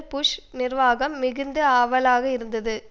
push நிர்வாகம் மிகுந்து ஆவலாக இருந்தது